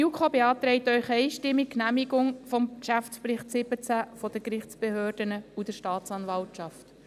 Die JuKo beantragt Ihnen einstimmig die Genehmigung des Geschäftsberichts 2017 der Gerichtsbehörden und der Staatsanwaltschaft.